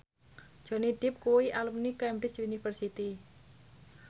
Johnny Depp kuwi alumni Cambridge University